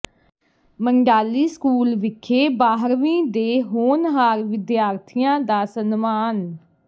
Mandhali school ਵਿਖੇ ਬਾਰ੍ਹਵੀਂ ਦੇ ਹੋਣਹਾਰ ਵਿਦਿਆਰਥੀਆਂ ਦਾ ਸਨਮਾਨ